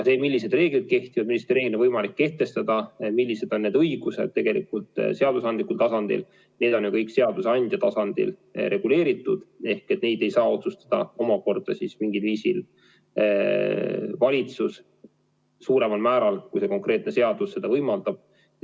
Millised reeglid kehtivad, millised reeglid on võimalik kehtestada – need õigused on tegelikult seadusandja tasandil reguleeritud, neid ei saa otsustada valitsus mingil viisil suuremal määral, kui see konkreetne seadus seda võimaldab.